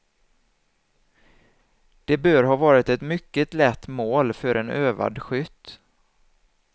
De bör ha varit ett mycket lätt mål för en övad skytt.